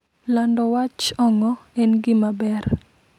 Lando wach ong'o en gima ber.